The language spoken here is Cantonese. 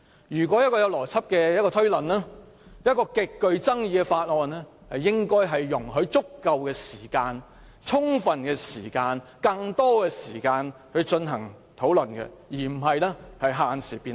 如果是有邏輯的推論，對於一項極具爭議的法案，應該容許議員有足夠、更多時間進行討論，而非限時辯論。